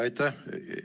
Aitäh!